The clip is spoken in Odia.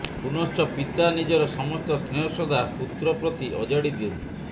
ପୁନଶ୍ଚ ପିତା ନିଜର ସମସ୍ତ ସ୍ନେହ ଶ୍ରଦ୍ଧା ପୁତ୍ର ପ୍ରତି ଅଜାଡ଼ି ଦିଅନ୍ତି